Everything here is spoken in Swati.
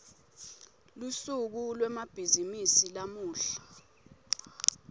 lusuku lwemabhizimisi lamuhla